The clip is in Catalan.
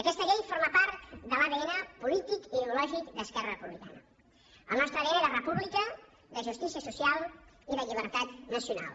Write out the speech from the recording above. aquesta llei forma part de l’adn polític i ideològic d’esquerra republicana el nostre adn de república de justícia social i de llibertat nacional